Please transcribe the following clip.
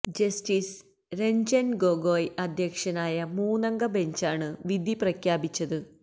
justice Ranjan Gogoi അധ്യക്ഷനായ മൂന്നംഗ ബെഞ്ചാണ് വിധി പ്രഖ്യാപിച്ചത്